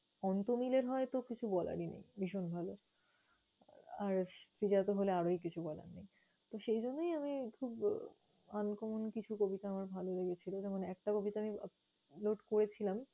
অন্ত্যমিলের হয় তো কিছু বলারই নেই, ভীষণ ভালো। আর শ্রীজাত হলে আরও কিছু বলার নেই। তো সেইজন্যেই আমি খুব uncommon কিছু কবিতা আমার ভালো লেগেছিলো। যেমন একটা কবিতা আমি upload করেছিলাম